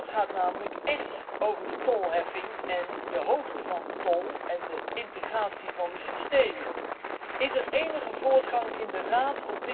Dat gaat namelijk echt over de tolheffing, de hoogte van de tol en de integratie van de systemen. Is er op dit punt enige voortgang in de Raad?